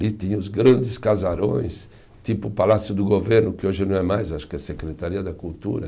E tinha os grandes casarões, tipo o Palácio do Governo, que hoje não é mais, acho que é a Secretaria da Cultura.